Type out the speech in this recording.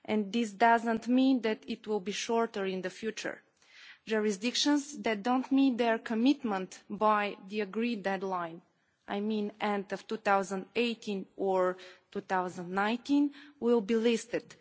This does not mean that it will be shorter in the future. Jurisdictions that do not meet their commitment by the agreed deadline the end of 2018 or 2019 will be listed.